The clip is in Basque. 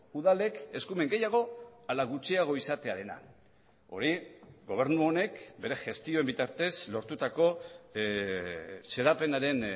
udalek eskumen gehiago ala gutxiago izatearena hori gobernu honek bere gestioen bitartez lortutako xedapenaren